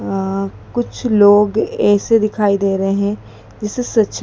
अं कुछ लोग ऐसे दिखाई दे रहे हैं जैसे सच--